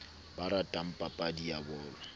ba ratang papadi ya bolo